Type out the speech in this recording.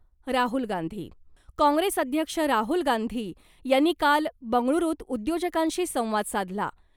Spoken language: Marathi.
राहुल गांधी, कॉंग्रेस अध्यक्ष राहुल गांधी यांनी काल बंगळुरूत उद्योजकांशी संवाद साधला .